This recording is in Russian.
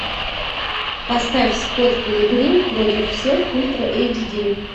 поставь скотт пилигрим против всех ультра эйч ди